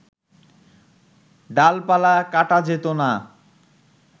ডালপালা কাটা যেতো না